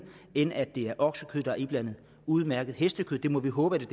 end at det er oksekød der er iblandet udmærket hestekød det må vi håbe